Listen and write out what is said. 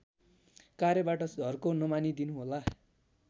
कार्यबाट झर्को नमानिदिनुहोला